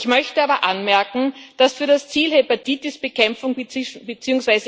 Ich möchte aber anmerken, dass für das Ziel Hepatitis Bekämpfung bzw.